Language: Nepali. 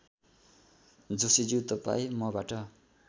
जोशीज्यू तपाईँ मबाट